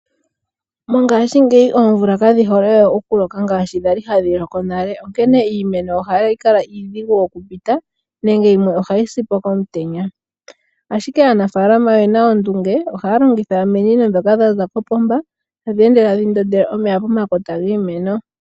Ngaashingeyi oomvula kadhihole we oku loka ngaashi kwali hadhi loko nale onkene iimeno ohayi kala iidhigu nenge yimwe ohayisi komutenya, Ashike aanafaalama oyena ondunge omikalo dhoopomba tadhi ndondelw omeya pomakota giimeno